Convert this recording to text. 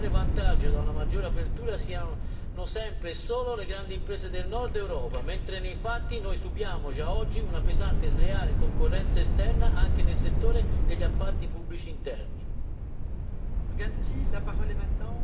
Io sono per la prima ipotesi, perché temo che a trarre vantaggio da una maggior apertura siano sempre e solo le grandi imprese del Nord Europa, mentre nei fatti noi subiamo già oggi una pesante sleale concorrenza esterna anche nel settore degli appalti pubblici interni.